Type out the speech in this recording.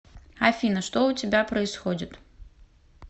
афина что у тебя происходит